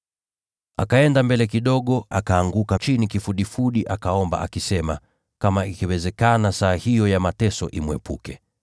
Akaenda mbele kidogo, akaanguka kifudifudi, akaomba kwamba kama ingewezekana saa hiyo ya mateso imwondokee.